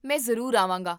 ਮੈਂ ਜ਼ਰੂਰ ਆਵਾਂਗਾ